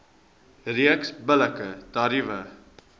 reeks billike tariewe